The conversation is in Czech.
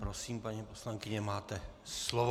Prosím, paní poslankyně, máte slovo.